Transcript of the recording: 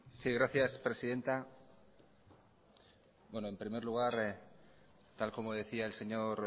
sí gracias presidenta bueno en primer lugar tal como decía el señor